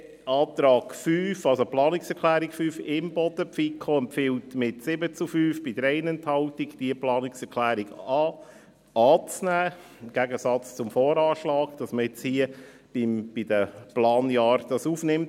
Antrag respektive Planungserklärung 5, Imboden: Die FiKo empfiehlt mit 7 zu 5 Stimmen bei 3 Enthaltungen, diese Planungserklärung anzunehmen, dass man diese also im Gegensatz zum VA hier bei den Planjahren aufnimmt.